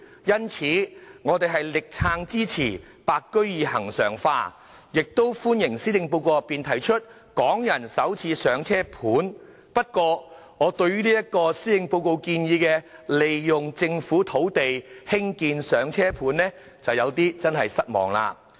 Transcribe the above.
因此，我們會全力支持"白居二"恆常化，亦歡迎施政報告內提出的"港人首次上車盤"，但我對於施政報告建議利用政府土地興建"上車盤"就有點失望了。